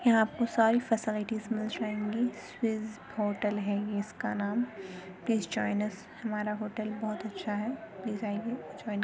यहाँ आपको सारी फैसिलिटीज मिल जाएंगी। स्वीज होटल है ये इसका नाम। प्लीज ज्वाइन अस हमारा होटल बोहोत अच्छा है। प्लीज आइये ज्वाइन --